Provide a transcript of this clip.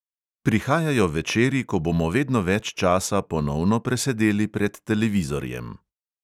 Prihajajo večeri, ko bomo vedno več časa ponovno presedeli pred televizorjem.